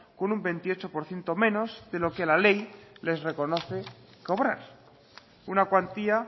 con un veintiocho por ciento menos de lo que la ley les reconoce cobrar una cuantía